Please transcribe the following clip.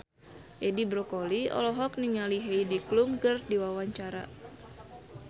Edi Brokoli olohok ningali Heidi Klum keur diwawancara